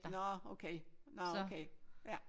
Nåh okay Nåh okay ja